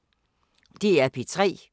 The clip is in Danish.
DR P3